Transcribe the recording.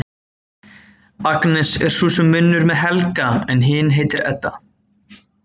Agnes er sú sem vinnur með Helga en hin heitir Edda.